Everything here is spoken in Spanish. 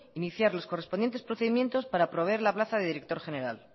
iniciar los correspondientes procedimientos para proveer la plaza de director general